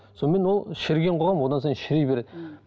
сонымен ол шіріген қоғам одан сайын шіри береді